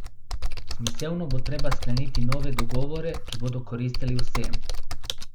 Smiselno bo treba skleniti nove dogovore, ki bodo koristili vsem.